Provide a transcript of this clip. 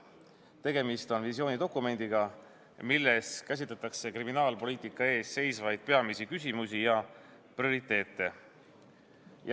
Tegemist on visioonidokumendiga, milles käsitletakse kriminaalpoliitika peamisi küsimusi ja prioriteete.